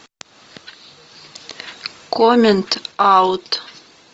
комент аут